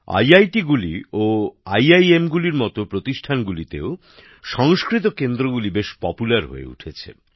IIT ও আইআইএমের মত প্রতিষ্ঠানগুলিতেও সংস্কৃত কেন্দ্রগুলি বেশ জনপ্রিয় হয়ে উঠছে